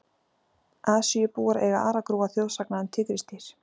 Asíubúar eiga aragrúa þjóðsagna um tígrisdýr.